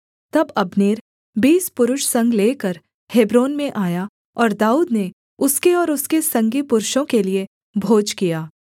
तब अब्नेर बीस पुरुष संग लेकर हेब्रोन में आया और दाऊद ने उसके और उसके संगी पुरुषों के लिये भोज किया